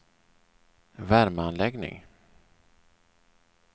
värmeanläggning